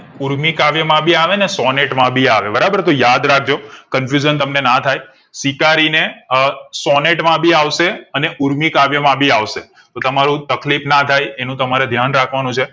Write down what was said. ઊર્મિ કાવ્ય માં ભી આવે અને સૉનેટ માં ભી આવે બરાબર તો યાદ રાખ જો confusion તમને ના થાય સ્વીકારીને અ સૉનેટ માં ભી આવશે અને ઊર્મિ કાવ્ય માં ભી આવશે તો તમારું તકલીફ નાથાય એનું તમારે ધ્યાન રાખ વા નું છે